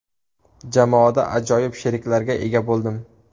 Jamoada ajoyib sheriklarga ega bo‘ldim.